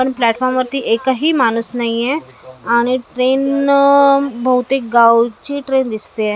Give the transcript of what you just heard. पण प्लॅफॉर्म वरती एकही माणूस नाहीए आणि ट्रेन अ बहुतेक गावची ट्रेन दिसतीए .